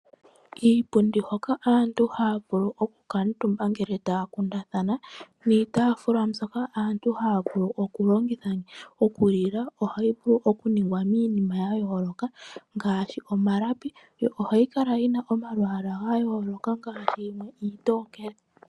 Kiipundi hoka aantu haya vulu okukuutumba ngele taya kundathana niitaafula mbyoka aantu haya vulu okulongitha okulila ohayi vulu okuningwa miinima ya yooloka ngaashi omalapi, yo ohayi kala yi na omalwaala ga yooloka ngaashi yimwe iitookele.